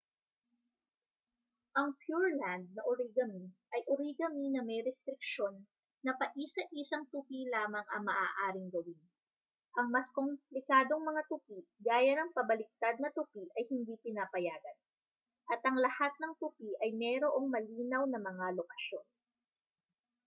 ang pureland na origami ay origami na may restriksyon na paisa-isang tupi lamang ang maaaring gawin ang mas komplikadong mga tupi gaya ng pabaliktad na tupi ay hindi pinapayagan at ang lahat ng tupi ay mayroong malinaw na mga lokasyon